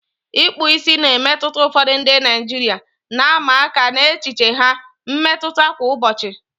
Ikpu ìsì na-emetụta ụfọdụ ndị Naijiria, na-ama aka n'echiche ha mmetụta kwa ụbọchị.